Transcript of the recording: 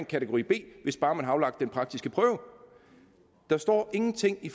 kategori b hvis bare man har aflagt den praktiske prøve der står ingenting i